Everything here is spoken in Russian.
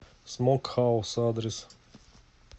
смок хаус адрес